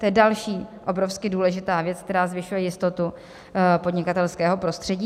To je další obrovsky důležitá věc, která zvyšuje jistotu podnikatelského prostředí.